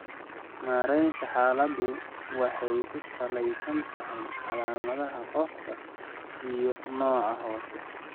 Maareynta xaaladdu waxay ku salaysan tahay calaamadaha qofka iyo nooca hoose (haddii la garanayo).